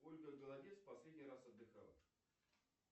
ольга голодец последний раз отдыхала